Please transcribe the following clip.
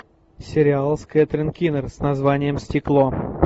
сериал с кэтрин кинер с названием стекло